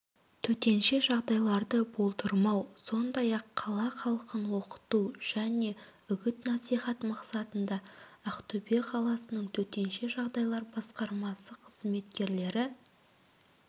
төтенше жағдайларды болдырмау сондай-ақ қала халқын оқыту және үгіт-насихат мақсатында ақтөбе қаласының төтенше жағдайлар басқармасы қызметкерлері